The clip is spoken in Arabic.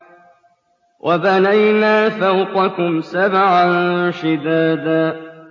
وَبَنَيْنَا فَوْقَكُمْ سَبْعًا شِدَادًا